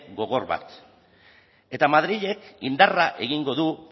gogor bat eta madrilek indarra egingo du